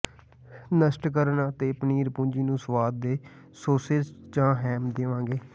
ਨਸ਼ਟ ਕਰਨ ਅਤੇ ਪਨੀਰ ਪੂੰਜੀ ਨੂੰ ਸਵਾਦ ਦੇ ਸੌਸੇਜ ਜਾਂ ਹੈਮ ਦੇਵੇਗਾ